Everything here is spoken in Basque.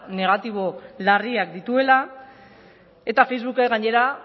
negatibo larriak dituela eta facebookek gainera